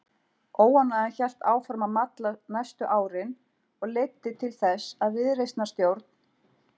Óánægjan hélt áfram að malla næstu árin og leiddi til þess að viðreisnarstjórn